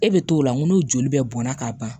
E bɛ t'o la ŋo n'o joli bɛɛ bɔnna ka ban